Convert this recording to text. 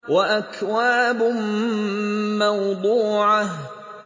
وَأَكْوَابٌ مَّوْضُوعَةٌ